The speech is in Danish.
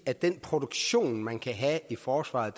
at den produktion man så kan have i forsvaret